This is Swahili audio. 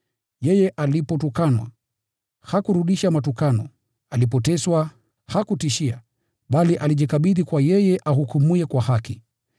Yeye alipotukanwa, hakurudisha matukano; alipoteswa, hakutishia, bali alijikabidhi kwa yeye ahukumuye kwa haki.